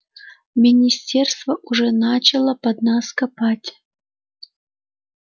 министерство уже начало под нас копать